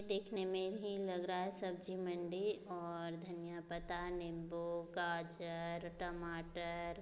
देखने में ही लग रहा है सब्जी मंडी और धनिया पता नींबू गाजर टमाटर --